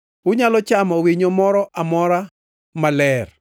Unyalo chamo winyo moro amora ma ok ler.